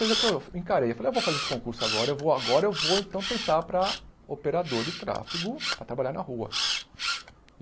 Encarei, falei, vou fazer esse concurso agora, agora eu vou tentar para operador de tráfego, para trabalhar na rua.